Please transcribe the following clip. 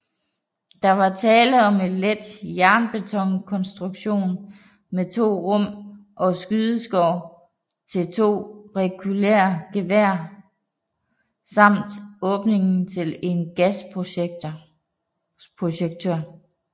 Der var tale om en let jernbetonkonstruktion med 2 rum og skydeskår til 2 rekylgeværer samt åbning til en gasprojektør